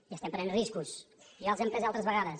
i estem prenent riscos ja els hem pres altres vegades